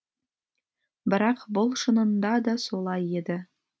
бірақ бұл шынында да солай еді